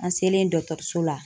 An selen dɔgɔtɔrɔso la